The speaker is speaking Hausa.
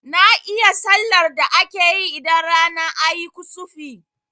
Na iya sallar da akeyi idan rana ayi kusufi